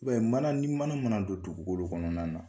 I b'a ye mana ni mana mana don dugukolo kɔnɔna na.